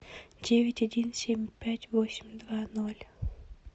девять один семь пять восемь два ноль